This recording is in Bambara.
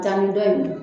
Daani dɔ in